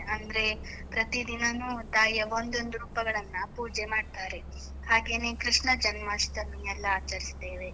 ಅಂದ್ರೆ, ಪ್ರತಿ ದಿನಾನೂ ತಾಯಿಯ ಒಂದೊಂದು ರೂಪಗಳನ್ನ ಪೂಜೆ ಮಾಡ್ತಾರೆ, ಹಾಗೇನೇ ಕೃಷ್ಣ ಜನ್ಮಾಷ್ಟಮಿ ಎಲ್ಲ ಆಚರಿಸ್ತೇವೆ.